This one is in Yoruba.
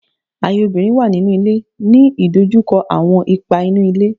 Aye obinrin wa ninu ile,” ni idojukọ awọn ipa inu ile